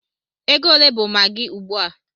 Ego ole bụ maggi ugbu a?